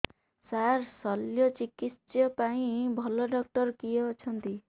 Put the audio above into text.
ସାର ଶଲ୍ୟଚିକିତ୍ସା ପାଇଁ ଭଲ ଡକ୍ଟର କିଏ ଅଛନ୍ତି